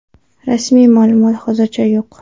Rasmiy ma’lumot hozircha yo‘q.